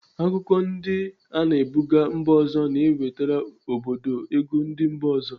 Akụkụ ndi ana ebuga mba ọzọ na-ewetara obodo ego ndi mba ọzọ.